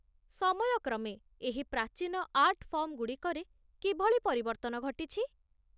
ସମୟ କ୍ରମେ, ଏହି ପ୍ରାଚୀନ ଆର୍ଟ ଫର୍ମଗୁଡ଼ିକରେ କିଭଳି ପରିବର୍ତ୍ତନ ଘଟିଛି?